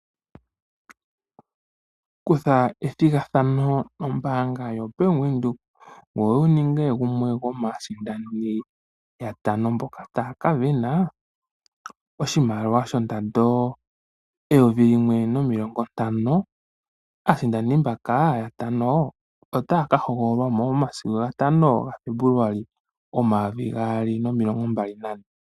Kutha ombinga methigathano lyombaanga yoBank Windhoek, ngweye wuninge gumwe gwomaasindani yatano mboka taya kasindana oshimaliwa shondando, eyovi limwe nomilongo ntano. Aasindani mboka yatano otaya ka hogololwa momasiku gatano gaFebuluali, omayovi gaali nomilongo mbali nane.